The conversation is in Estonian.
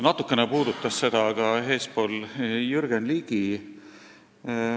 Natukene puudutas seda ka Jürgen Ligi.